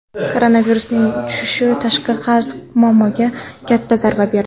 Koronavirusning tushishi tashqi qarz muammosiga katta zarba berdi.